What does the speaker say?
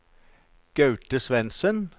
Gaute Svendsen